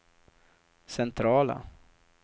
centrala